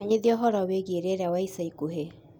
menyithia ũhoro wĩĩgĩe rĩera wa ĩca ĩkũhĩ